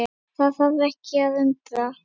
Það þarf ekki að undra.